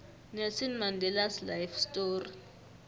nelson mandelas life story